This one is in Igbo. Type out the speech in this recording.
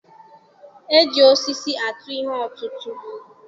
E ji osisi atụ ihe ọtụtụ.